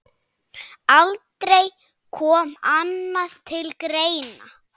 Aldrei kom annað til greina.